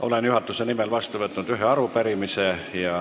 Olen juhatuse nimel vastu võtnud ühe arupärimise.